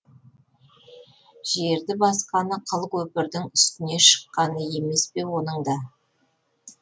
жерді басқаны қыл көпірдің үстіне шыққаны емес пе оның да